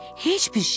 Heç bir şey?